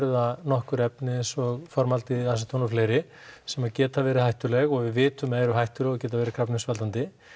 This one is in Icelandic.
það nokkur efni eins og formaldehýð aseton og fleiri sem að geta verið hættuleg og við vitum að eru hættuleg og geta verið krabbameinsvaldandi